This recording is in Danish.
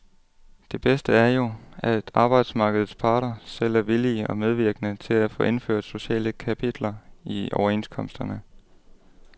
Det bedste er jo, at arbejdsmarkedets parter selv er villige og medvirkende til at få indført sociale kapitler i overenskomsterne.